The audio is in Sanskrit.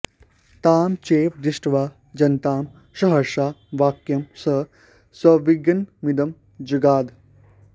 तां चैव दृष्ट्वा जनतां सहर्षां वाक्यं स संविग्नमिदं जगाद